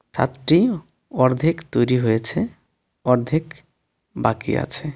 ছাদটি অর্ধেক তৈরি হয়েছে অর্ধেক বাকি আছে.